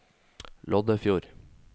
Loddefjord